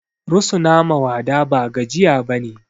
Rusuna ma wada ba gajiya bane